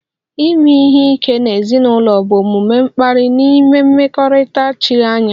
Ime ihe ike n'ezinụlọ bụ omume mkparị n'ime mmekọrịta chiri anya